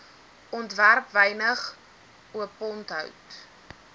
ontwerp wynig oponthoud